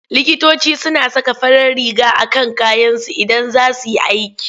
Likitoci suna saka farar riga a kan kayansu Idan za su yi aiki.